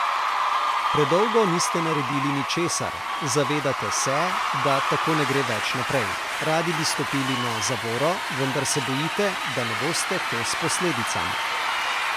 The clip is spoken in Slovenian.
Predolgo niste naredili ničesar, zavedate se, da tako ne gre več naprej, radi bi stopili na zavoro, vendar se bojite, da ne boste kos posledicam.